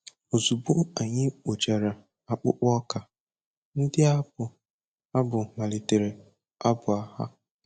Ozugbo anyị kpochara akpụkpọ ọka, ndị na-abụ abụ malitere abụ ha.